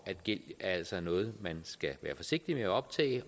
at gæld altså er noget man skal være forsigtig med at optage